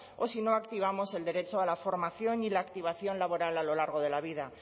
o si no activamos el derecho a la formación y la activación laboral a lo largo de la vida